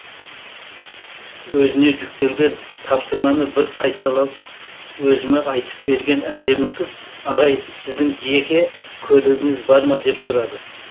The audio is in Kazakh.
өзіне жүктелген тапсырманы бір қайталап өзіме айтып берген әдемі қыз ағай сіздің жеке көлігіңіз бар ма деп сұрады